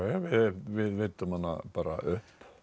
við veiddum hana bara upp